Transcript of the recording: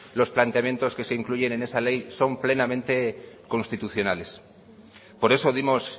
los planteamos que se incluyen en esa ley son plenamente constitucionales por eso dimos